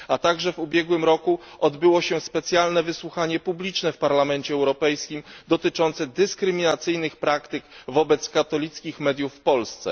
Także w ubiegłym roku odbyło się specjalne wysłuchanie publiczne w Parlamencie Europejskim dotyczące dyskryminacyjnych praktyk wobec katolickich mediów w Polsce.